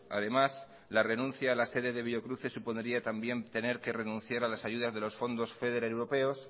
además la renuncia a la sede de biocruces supondría también tener que renunciar a las ayudas de los fondos feder europeos